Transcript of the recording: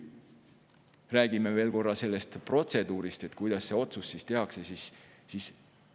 Räägime nüüd korra veel sellest protseduurist, kuidas otsus tehakse.